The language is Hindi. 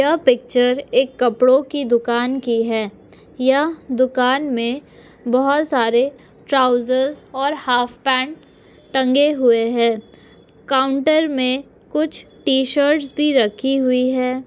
यह पिक्चर एक कपड़ो की दूकान की है यह दुकान में बहोत सारे ट्राउज़र्स और हाफ पेन्ट टंगे हुए है काउंटर में कुछ टी शर्ट्स भी रखी हुई है।